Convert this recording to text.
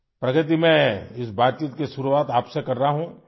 پرگتی، میں ، اِس بات چیت کی شروعات آپ سے کر رہا ہوں